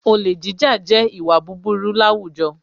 Olè jíjà jẹ́ ìwà búburú láwùjọ